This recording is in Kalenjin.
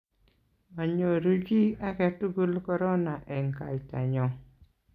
manyoru chi age tugul korona eng' kaitanyo